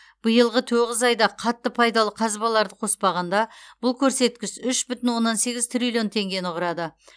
биылғы тоғыз айда қатты пайдалы қазбаларды қоспағанда бұл көрсеткіш үш бүтін оннан сегіз триллион теңгені құрады